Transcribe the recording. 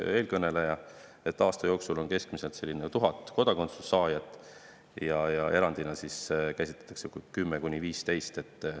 Eelkõneleja ka mainis, et aasta jooksul on keskmiselt 1000 kodakondsuse saajat ja erandina käsitletakse seda, kui selle saab 10–15.